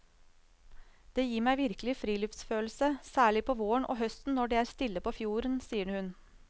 Det gir meg virkelig friluftsfølelse, særlig på våren og høsten når det er stille på fjorden, sier hun.